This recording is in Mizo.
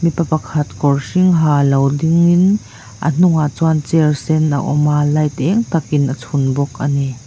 mipa pakhat kawr hring ha lo dingin a hnungah chuan chair sen a awm a light eng tak in a chhun bawk a ni.